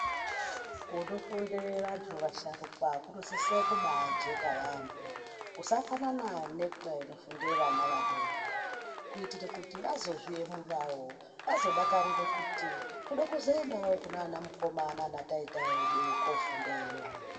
Kunofundire vantu vasharukwa kunosise kubachena yaampho. Kusafanane nekunofundire vana vadoko. Kuitire kuti vazozviemurawo, vazodakarire kuti tode kuzoendawo kuna ana mukoma nana taita edu koofundireyo.